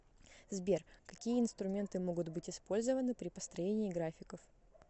сбер какие инструменты могут быть использованы при построении графиков